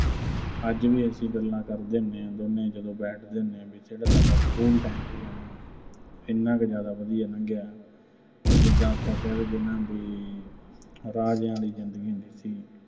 ਅੱਜ ਵੀ ਅਸੀਂ ਗੱਲਾਂ ਕਰਦੇ ਹੁੰਨੇ ਆਂ ਦੋਵੇਂ, ਜਦੋਂ ਬੈਠਦੇ ਹੁੰਨੇ ਆਂ, ਵੀ ਜਿਹੜਾ ਸਾਡਾ school time ਸੀਗਾ ਨਾ ਅਹ ਐਨਾ ਕੁ ਜ਼ਿਆਦਾ ਵਧੀਆ ਲੰਘਿਆ, ਵੀ ਜਿੱਦਾਂ ਆਪਾਂ ਕਹਿ ਦੀਏ ਨਾ ਵੀ ਰਾਜਿਆਂ ਆਲੀ ਜ਼ਿੰਦਗੀ ਹੁੰਦੀ ਸੀ।